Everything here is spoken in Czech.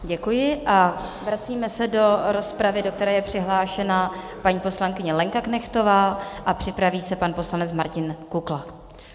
Děkuji a vracíme se do rozpravy, do které je přihlášená paní poslankyně Lenka Knechtová, a připraví se pan poslanec Martin Kukla.